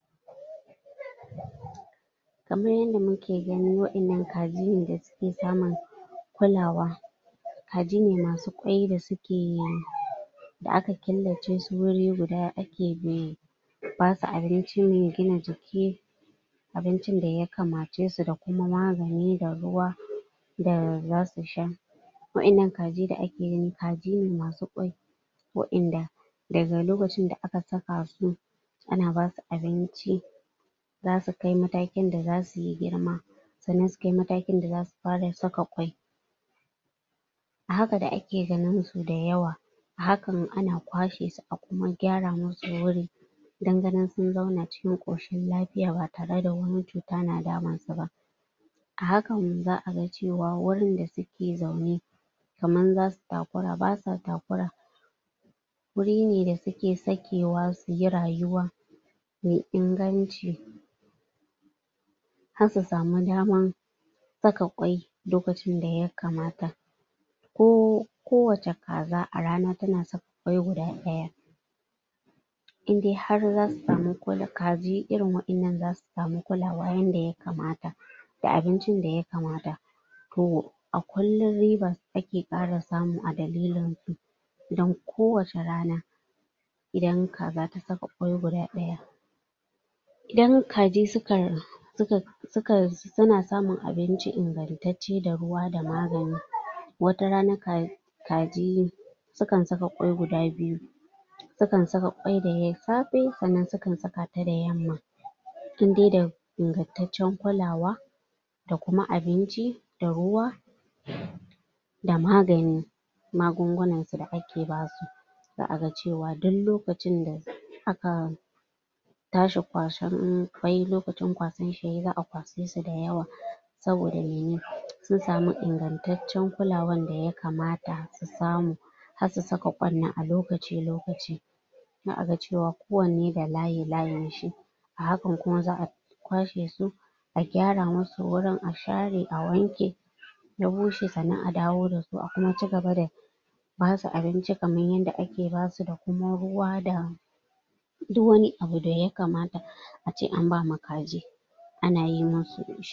kamar yanda muke gani wayannan kaji ne dasuke samun kulawa kaji ne masu ƙwai dasuke da aka killacesu guri guda ake kewaye basu abinci mai gina jiki abincin daya kamacesu dakuma magani da ruwa da zasu sha waƴannan kaji da ake gani kajine masu ƙwai waƴanda daga lokacinda aka saka su ana basu abinci zasu kai matakinda zasuyi girma sa'anan sukai matakin da zasu fara saka kwai ahakan da ake ganinsu dayawa ahakan ana kwashe su akuma gyara musu wuri dan ganin sun zauna cikin koshin lafiya ba tareda wani cuta na damunsu ba ahakan za'aga cewa wurinda suke zaune kaman zasu takura basuwa takura wuri ne dasuke sakewa suyi rayuwa mai inganci har su samu daman saka ƙwai lokacin daya kamata ko kowace kaza arana tana saka ƙwai guda daya indai har zasu samu kul kaji irin waƴanan zasu samu kulawa yanda yaa kamata da abincin da yakamata toh akullum riba ake kara samu adalilinsu dan kowace rana idan kaza tasaka ƙwai guda daya idan kaji suka rar suka sukan suna samun abinci ingantacce da ruwa da magani watarana ka kaji sukan saƙa kwai guda biyu suakan saka ƙwai da safe sa'anan sukan sakata da yamma inde da ingantaccen kulawa dakuma abinci da ruwa (????) da magani magungunasu da kake basu za'aga cewa duk lokacinda aka tashi kwashan ƙwai lokacin kwasan shi yayi za'a kwashesu dayawa saboda mene sun samu ingantaccen kulawan daya kamata su samu har su saka ƙwai alokacin lokaci zaa'aga cewan kowanne da layi layin shi ahakan kuma za'abi kwashe su agyara musu wurin a gyara awanke yabushe sa'anan adawo dasu sa'ana acigaba da basu abinci kaman yanda ake basu dakuma ruwada du wani abu daya kamata ace an bama kaji ana yi musu dashi